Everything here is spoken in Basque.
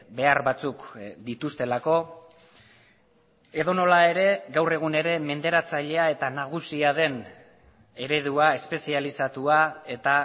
behar batzuk dituztelako edonola ere gaur egun ere menderatzailea eta nagusia den eredua espezializatua eta